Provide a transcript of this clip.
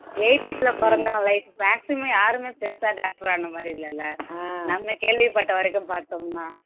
eighties ல பொறந்தவன் life maximum யாருமே பெருசா doctor ஆன மாதிரி இல்லல்ல நம்ம கேள்விப்பட்ட வரைக்கும் பார்த்தோம்னா